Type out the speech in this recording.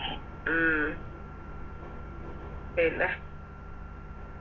ഉം പിന്നെ